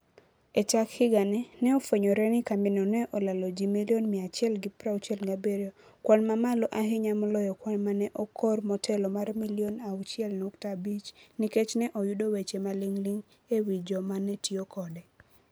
E chak higani, ne ofwenyore ni kambino ne olalo ji milion 167 - kwan mamalo ahinya moloyo kwan ma ne okor motelo mar milion 6.5 - nikech ne oyudi weche maling'ling' e wi jogo ma ne tiyo kode.